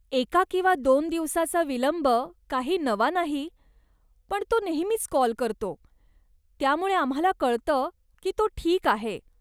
एका किंवा दोन दिवसाचा विलंब काही नवा नाही, पण तो नेहमीच कॉल करतो, त्यामुळे आम्हाला कळतं की तो ठीक आहे.